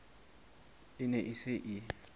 e ne e se e